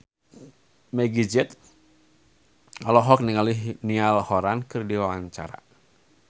Meggie Z olohok ningali Niall Horran keur diwawancara